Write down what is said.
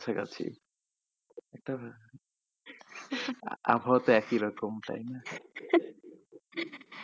কাছাকাছি আবহাওয়া তো একই রকম তাই না?